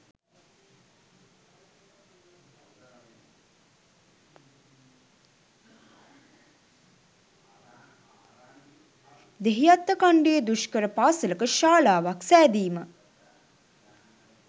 දෙහිඅත්තකන්ඩියේ දුෂ්කර පාසලක ශාලාවක් සෑදීම.